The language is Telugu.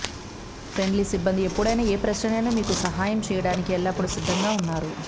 ఫ్రెండ్లీ సిబ్బంది ఎప్పుడైనా ఏ ప్రశ్ననైనా మీకు సహాయం చేయడానికి ఎల్లప్పుడూ సిద్ధంగా ఉన్నారు